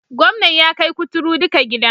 Gwamnan ya kai kuturu duka gida.